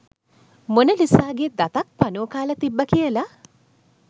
මොනලිසාගේ දතක් පණුවෝ කාලා තිබ්බා කියලා